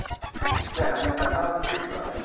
Encerramento das nove noites, novena.